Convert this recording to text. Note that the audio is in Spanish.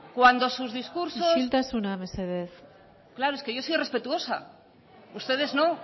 cuando sus discursos berbotsa isiltasuna mesedez claro es que yo soy respetuosa ustedes no